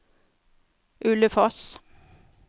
Ulefoss